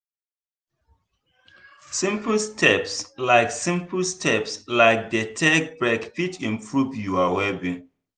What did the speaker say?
simple steps like simple steps like dey take break fit improve your well being.